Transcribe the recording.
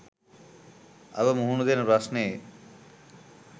අප මුහුණ දෙන ප්‍රශ්නයේ